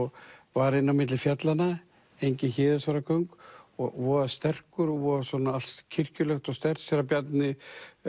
var inn á milli fjallana engin Héðinsfjarðargöng og voða sterkur og allt kirkjulegt og sterkt séra Bjarni